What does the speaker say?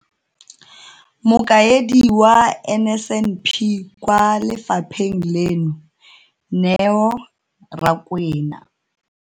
Mokaedi wa NSNP kwa lefapheng leno, Neo Rakwena.